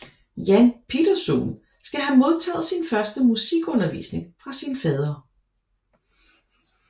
Jan Pieterszoon skal have modtaget sin første musikundervisning fra sin fader